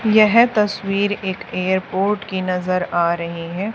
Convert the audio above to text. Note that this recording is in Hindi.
यह तस्वीर एक एयरपोर्ट की नजर आ रही है।